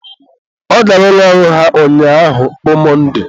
ọ gara ụlọ ọrụ ha ụnyaahụ bụ Mọnde